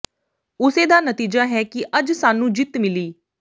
ਉਸੇ ਦਾ ਨਤੀਜਾ ਹੈ ਕਿ ਅੱਜ ਸਾਨੂੰ ਜਿੱਤ ਮਿਲੀ